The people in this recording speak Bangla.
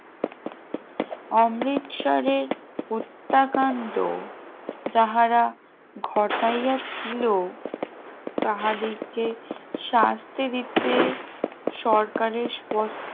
অমৃতসরের হত্যাকাণ্ড যাহারা ঘটাইয়া ছিল তাহাদেরকে শাস্তি দিতে সরকারের